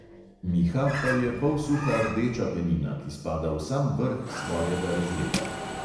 Miha pa je polsuha rdeča penina, ki spada v sam vrh svojega razreda.